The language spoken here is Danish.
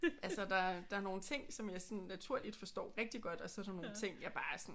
Altså der der er nogle ting som jeg sådan naturligt forstår rigtigt godt og så er der nogle ting jeg bare sådan